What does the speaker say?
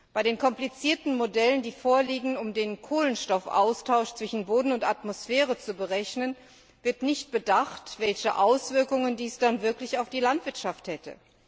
Bei den komplizierten Modellen, die vorliegen, um den Kohlenstoffaustausch zwischen Boden und Atmosphäre zu berechnen, wird nicht bedacht, welche Auswirkungen dies dann wirklich auf die Landwirtschaft hätte.